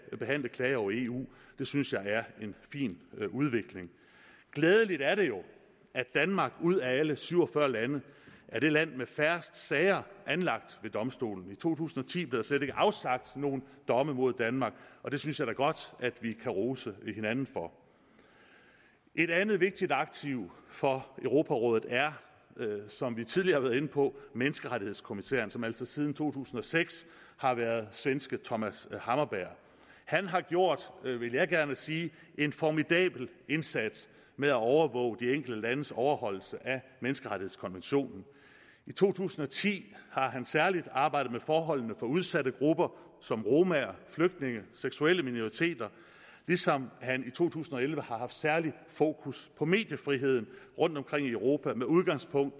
behandle klager over eu det synes jeg er en fin udvikling glædeligt er det jo at danmark ud af alle syv og fyrre lande er det land med færrest sager anlagt ved domstolen i to tusind og ti blev der slet ikke afsagt nogen domme mod danmark og det synes jeg da godt at vi kan rose hinanden for et andet vigtigt aktiv for europarådet er som vi tidligere har været inde på menneskerettighedskommissæren som altså siden to tusind og seks har været svenske thomas hammarberg han har gjort vil jeg gerne sige en formidabel indsats med at overvåge de enkelte landes overholdelse af menneskerettighedskonventionen i to tusind og ti har han særlig arbejdet med forholdene for udsatte grupper som romaer flygtninge seksuelle minoriteter ligesom han i to tusind og elleve har haft særligt fokus på mediefriheden rundtomkring i europa med udgangspunkt